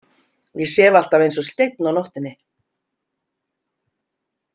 Ég sef alltaf eins og steinn á nóttunni.